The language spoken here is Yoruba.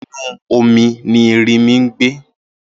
Inú omi ni erinmi ń gbé